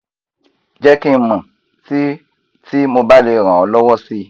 jẹ́ kí n mọ̀ tí tí mo bá lè ràn ọ́ lọ́wọ́ si